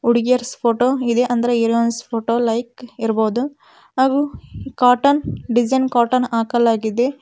ಹುಡುಗಿಯರ್ಸ್ photo ಅಂದ್ರೆ heroines photo like ಇರ್ಬೋದು ಹಾಗು ಕಾಟನ್ ಡಿಸೈನ್ ಕಾಟನ್ ಹಾಕಲಾಗಿದೆ.